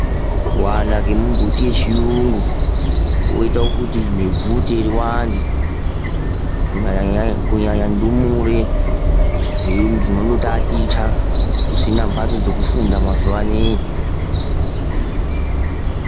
Kuwanda kwemumbiti yechiyungu koita kuti nebvute riwande kunyanya ndumure dzinotaticha kusina mhatso dzekufunda mazuvanei.